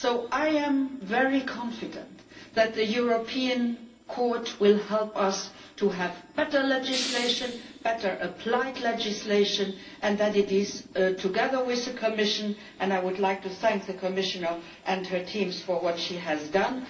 I am very confident that the European Court will help us to have better legislation better applied legislation and that it stands together with the Commission. I would like to thank the Commissioner and her teams for what she has done.